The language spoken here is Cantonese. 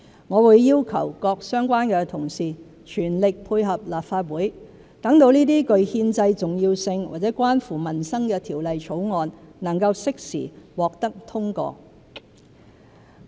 我會要求各相關同事全力配合立法會，讓這些具憲制重要性或關乎民生的條例草案能適時獲得通過。